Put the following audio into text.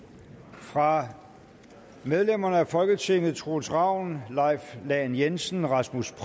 fra medlemmer af folketinget troels ravn leif lahn jensen rasmus